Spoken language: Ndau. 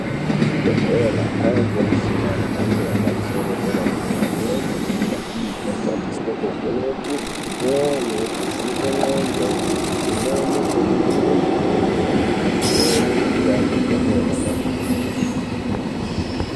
Kuzvibhedhlera kwakuonekwa mishini yemhando yepamusoro yedera dera imweni Yemushina iyi inoshandiswa kuvheneka mwoyo kuvheneka ngonxo imweni kuningira mitombo imweni pamweni kupa vantu mitombo yakanaka kwemene.